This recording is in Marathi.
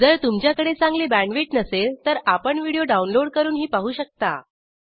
जर तुमच्याकडे चांगली बॅण्डविड्थ नसेल तर आपण व्हिडिओ डाउनलोड करूनही पाहू शकता